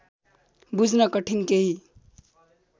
बुझ्न कठिन केही